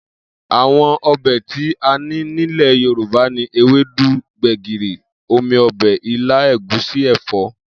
Àwo̩n o̩bè̩ tí a ní nílè̩ Yorùbá ni ewédú, gbè̩gìrì, omi o̩bè̩, ilá, ègúsí, è̩fó̩